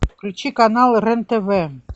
включи канал рен тв